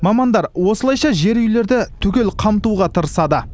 мамандар осылайша жер үйлерді түгел қамтуға тырысады